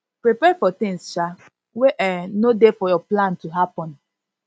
prepare for things um wey um no dey for your plan to happen